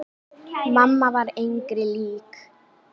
Mamma var engri lík.